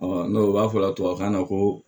n'o b'a fɔ la tubabukan na ko